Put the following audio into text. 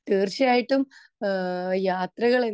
speaker 2 തീർച്ചയായിട്ടും ആ യാത്രകൾ